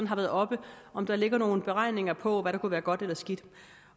har været oppe om der ligger nogle beregninger på hvad der kunne være godt eller skidt